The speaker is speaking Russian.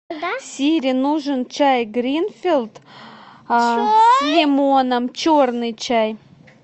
сири нужен чай гринфилд с лимоном черный чай